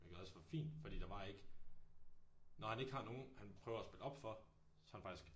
Hvilket også var fint fordi der var ikke når han ikke har nogen han prøver at spille op for så han faktisk